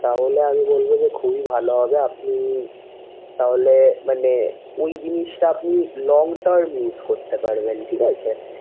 তাহলে আমি বলবো যে খুবই ভালো হবে আপনি তাহলে মানে ঐ জিনিসটা আপনি long term use করতে পারবেন ঠিক আছে।